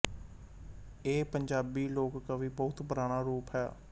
ਇਹ ਪੰਜਾਬੀ ਲੋਕ ਕਾਵਿ ਬਹੁਤ ਪੁਰਾਣਾ ਰੂਪ ਹੈ